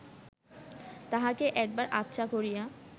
তাহাকে একবার আচ্ছা করিয়া